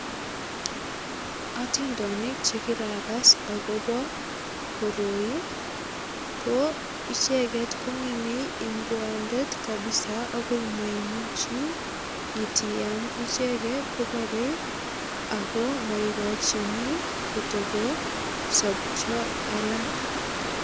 Atindonik che kiragas agobo koroi ko icheget ko ngemei ingwomdet kabisa agoi maimichi itiyam. Icheget koborei ago mauchini kotagosopcha alak.